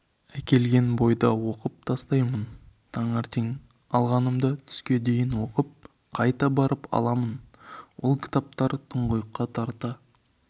бойда оқып тастаймын таңертең алғанымды түске дейін оқып қайта барып аламын ол кітаптар тұңғиыққа тарта